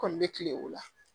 Kɔni bɛ kile o la